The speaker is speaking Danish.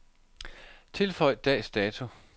Tilføj dags dato.